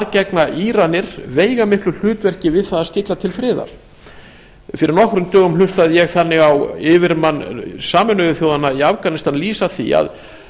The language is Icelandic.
gegna íranir veigamiklu hlutverki við það að stilla til friðar fyrir nokkrum dögum hlustaði ég þannig á yfirmann sameinuðu þjóðanna í afganistan lýsa því